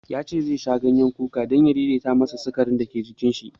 Ya ce zai sha ganyen kuka don ya daidaita masa sikarin da ke jinin shi.